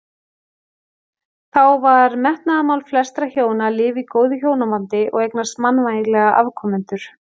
Þá var metnaðarmál flestra hjóna að lifa í góðu hjónabandi og eignast mannvænlega afkomendur.